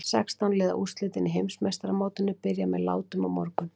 Sextán liða úrslitin í Heimsmeistaramótinu byrja með látum á morgun.